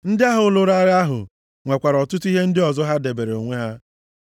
Ndị ahụ lụrụ agha ahụ nwekwara ọtụtụ ihe ndị ọzọ ha debeere onwe ha.